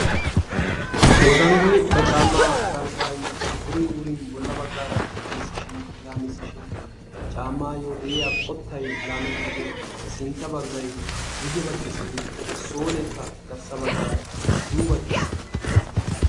Wotanggoy ba caamaa galbbay wurin wurin bola bagaara laamisishin laamisishin caamaayo de'iya qotay laamettidi sintta bagay guye bagi simmin solekka garssa bagaara yuubatiis.